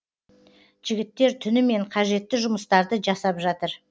жігіттер түнімен қажетті жұмыстарды жасап жатыр